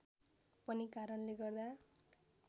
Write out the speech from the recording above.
पनि कारणले गर्दा